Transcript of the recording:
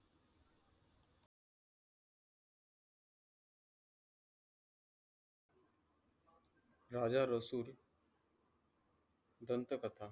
राजा रसूल दंत कथा